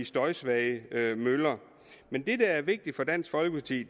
støjsvage møller men det der er vigtigt for dansk folkeparti